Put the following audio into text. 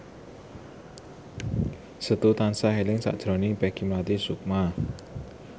Setu tansah eling sakjroning Peggy Melati Sukma